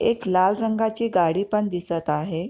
एक लाल रंगाची गाडी पण दिसत आहे.